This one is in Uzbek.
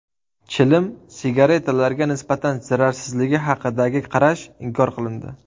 Chilim sigaretalarga nisbatan zararsizligi haqidagi qarash inkor qilindi.